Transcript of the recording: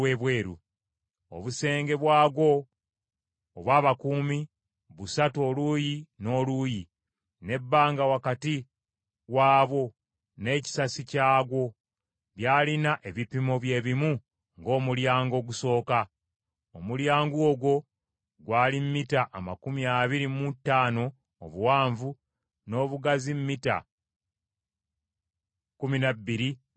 Obusenge bwagwo obw’abakuumi, busatu oluuyi n’oluuyi, n’ebbanga wakati waabwo, n’ekisasi kyagwo, byalina ebipimo bye bimu ng’omulyango ogusooka. Omulyango ogwo gwali mita amakumi abiri mu ttaano obuwanvu, n’obugazi mita kkumi na bbiri n’ekitundu.